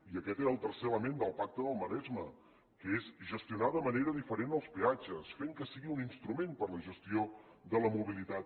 i aquest era el tercer element del pacte del maresme que és gestionar de manera diferent els peatges fent que sigui un instrument per a la gestió de la mobilitat